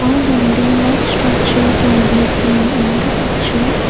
A building like structure can be seen in the picture.